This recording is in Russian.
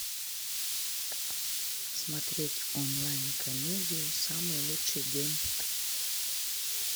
смотреть онлайн комедию самый лучший день